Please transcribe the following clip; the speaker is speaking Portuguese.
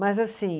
Mas assim.